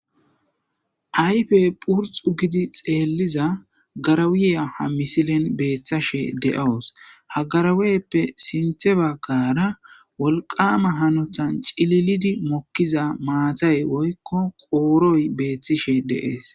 Ayfe phurxu gidi xeelliza garawuya ha misilen beeththashe de'oos hagaraweyppe sinthe baggara wolqama hanotan cililidi mokkiza maatay woykko qooroy beeththishe deees.